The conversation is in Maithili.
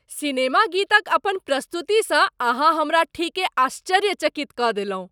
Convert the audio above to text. सिनेमा गीतक अपन प्रस्तुतिसँ अहाँ हमरा ठीके आश्चर्यचकित कऽ देलहुँ।